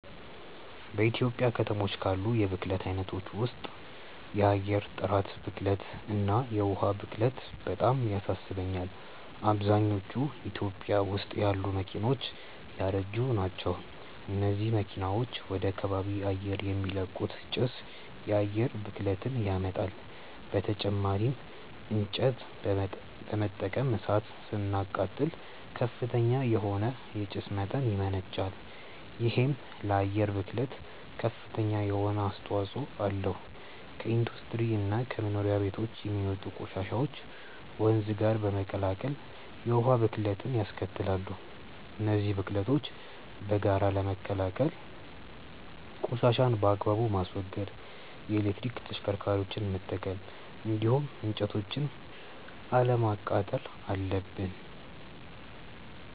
በኢትዮጵያ ከተሞች ካሉ የብክለት አይነቶች ውስጥ የአየር ጥራት ብክለት እና የዉሃ ብክለት በጣም ያሳስቡኛል። አብዛኞቹ ኢትዮጵያ ውስጥ ያሉ መኪናዎች ያረጁ ናቸው። እነዚህ መኪናዎች ወደ ከባቢ አየር የሚለቁት ጭስ የአየር ብክለትን ያመጣል። በተጨማሪም እንጨት በመጠቀም እሳት ስናቃጥል ከፍተኛ የሆነ የጭስ መጠን ያመነጫል። ይሄም ለአየር ብክለት ከፍተኛ የሆነ አስተዋጽኦ አለው። ከኢንዱስትሪ እና ከመኖሪያ ቤቶች የሚወጡ ቆሻሻዎችም ወንዝ ጋር በመቀላቀል የውሃ ብክለትንያስከትላሉ። እነዚህን ብክለቶች በጋራ ለመከላከል ቆሻሻን በአግባቡ ማስወገድ፣ የኤሌክትሪክ ተሽከርካሪዎችን መጠቀም እንዲሁም እንጨቶችን አለማቃጠል አለብን።